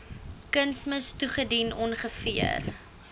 kunsmis toegedien ongeveer